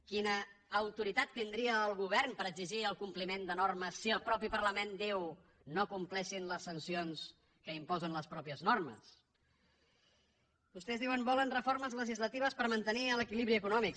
quina autoritat tindria el govern per exigir el compliment de normes si el mateix parlament diu no compleixin les sancions que imposen les mateixes normes vostès diuen que volen reformes legislatives per mantenir l’equilibri econòmic